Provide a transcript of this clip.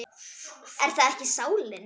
Er það ekki sálin?